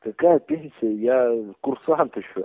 какая пенсия я курсант ещё